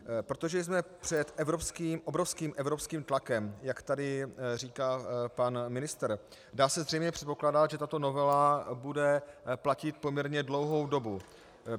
Protože jsme před obrovským evropským tlakem, jak tady říká pan ministr, dá se zřejmě předpokládat, že tato novela bude platit poměrně dlouhou dobu.